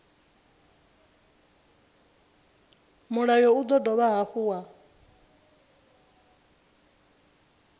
mulayo u dovha hafhu wa